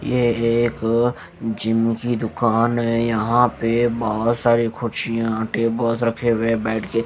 ये एक जिम की दुकान है यहां पे बहुत सारी कुर्सियां टेबल रखे हुए बेड के --